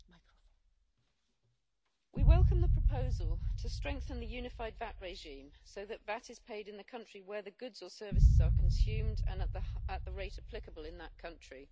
Madam President, we welcome the proposal to strengthen the unified VAT regime so that VAT is paid in the country where the goods or services are consumed and at the rate applicable in that country.